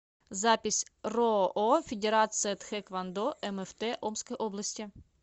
запись роо федерация тхэквондо мфт омской области